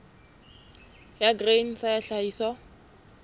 ya grain sa ya tlhahiso